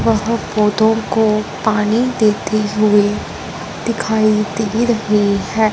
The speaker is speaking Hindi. वह पौधों को पानी देते हुए दिखाई दे रहे हैं।